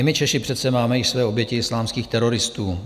I my Češi přece máme i své oběti islámských teroristů.